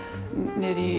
niðri í